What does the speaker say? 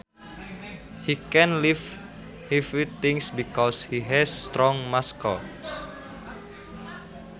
He can lift heavy things because he has strong muscles